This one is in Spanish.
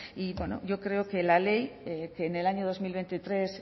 y bueno yo creo que la ley que en el año dos mil veintitrés